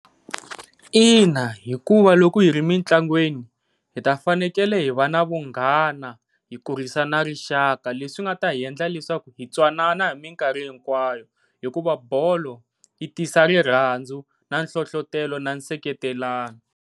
Ina, hikuva loko hi ri mitlangwini hi ta fanekele hi va na vunghana hi kurhisa na rixaka, leswi nga ta hi endla leswaku hi twanana hi mikarhi hinkwayo hikuva bolo yi tisa rirhandzu na nhlohlotelo na nseketelano.